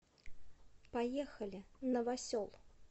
поехали новосел